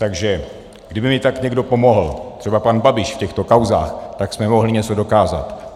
Takže kdyby mi tak někdo pomohl, třeba pan Babiš, v těchto kauzách, tak jsme mohli něco dokázat.